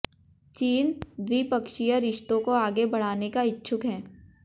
चीन द्विपक्षीय रिश्तों को आगे बढ़ाने का इच्छुक है